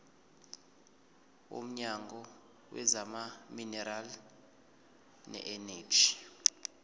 womnyango wezamaminerali neeneji